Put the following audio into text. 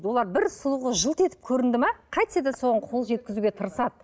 олар бір сұлу қыз жылт етіп көрінді ме қайтсе де соған қол жеткізуге тырысады